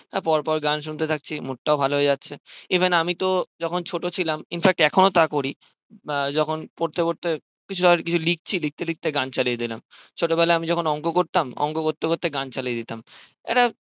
পর পর গন শুনতে থাকছি mood টাও ভালো হয়ে যাচ্ছে even আমি তো যখন ছোট ছিলাম in fact এখনো তাই করি আহ যখন পড়তে পড়তে কিছু ধরে লিখছি লিখতে লিখতে গান চালিয়ে দিলাম ছোট বেলায় আমি যখন অঙ্ক করতাম অঙ্ক করতে করতে গান চালিয়ে দিতাম একটা